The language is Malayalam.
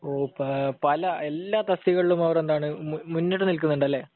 പല, എല്ലാ തസ്തികകളിലും അവരെന്താണ് മുന്നിട്ടുനിൽക്കുന്നുണ്ട്. അല്ലെ?